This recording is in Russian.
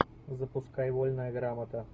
запускай вольная грамота